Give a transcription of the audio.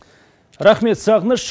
рахмет сағыныш